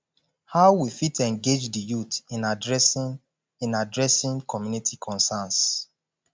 how we fit engage di youth in adressing in adressing community concerns